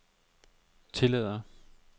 tillader